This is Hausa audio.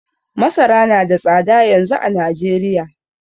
Masara nada tsada yanzu a Najeriya